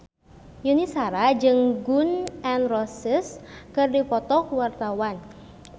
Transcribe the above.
Yuni Shara jeung Gun N Roses keur dipoto ku wartawan